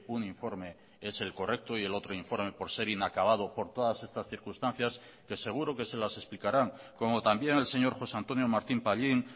un informe es el correcto y el otro informe por ser inacabado por todas estas circunstancias que seguro que se las explicarán como también el señor josé antonio martín pallín